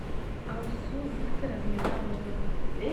алсу викторовне морозовой